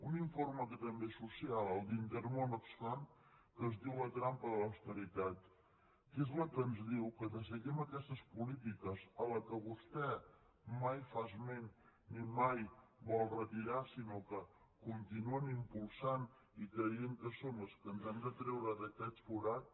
un informe que també és social el d’intermón oxfam que es diu la trampa de l’austeritat que és el que ens diu que de seguir aquestes polítiques a les quals vostè mai fa esment ni mai vol retirar sinó que continuen impulsant i creient que són les que ens han de treure d’aquest forat